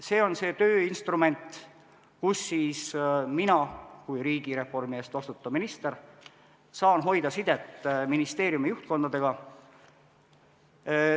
See on see tööinstrument, kus mina kui riigireformi eest vastutav minister saan hoida sidet ministeeriumide juhtkondadega.